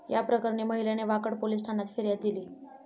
याप्रकरणी महिलेने वाकड पोलीस ठाण्यात फिर्याद दिली.